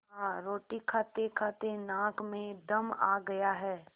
हाँ रोटी खातेखाते नाक में दम आ गया है